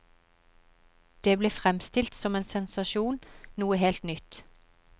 Det ble fremstilt som en sensasjon, noe helt nytt.